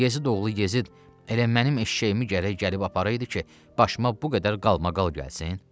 Bu Yezidoğlu Yezid elə mənim eşşəyimi gərək gəlib aparaydı ki, başıma bu qədər qalmaqal gəlsin?